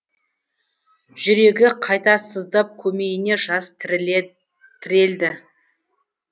жүрегі қайта сыздап көмейіне жас тірелді